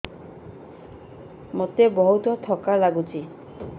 ମୋତେ ବହୁତ୍ ଥକା ଲାଗୁଛି